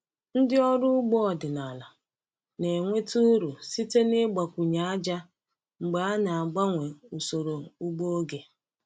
Ndị ọrụ ugbo ọdịnala na-enweta uru site n’ịgbakwunye ájá mgbe e na-agbanwe usoro ugbo oge.